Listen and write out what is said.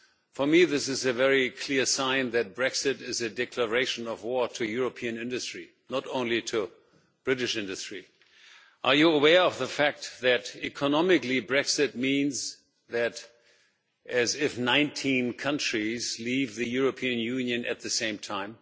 For me this is a very clear sign that Brexit is a declaration of war on European industry, not only on British industry. Are you aware of the fact that, economically, Brexit is equivalent to 19 countries leaving the European Union at the same time?